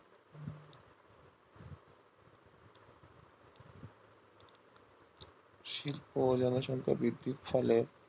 শিল্প জনসংখ্যার বৃদ্ধির ফলে